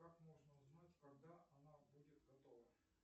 как можно узнать когда она будет готова